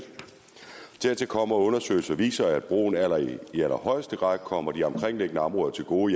dertil kommer at undersøgelser viser at broen i allerhøjeste grad kommer de omkringliggende områder til gode